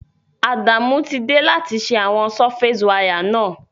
Adamu ti de láti se àwon surface wire náà